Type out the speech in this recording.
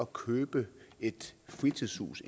købe et fritidshus